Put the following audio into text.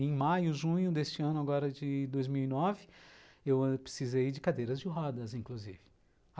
Em maio, junho deste ano, agora de dois mil e nove, eu ãh precisei de cadeiras de rodas, inclusive.